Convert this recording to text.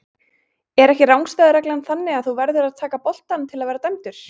Er ekki rangstæðu reglan þannig að þú verður að taka boltann til að vera dæmdur?